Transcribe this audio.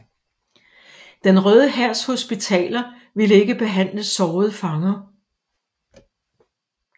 Den Røde Hærs hospitaler ville ikke behandle sårede fanger